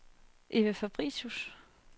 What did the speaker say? Evald Fabricius